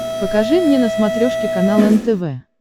покажи мне на смотрешке канал нтв